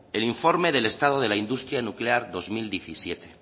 el informe del estado de la industria nuclear dos mil diecisiete